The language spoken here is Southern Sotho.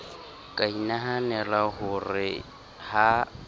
ka inahanela ho re ha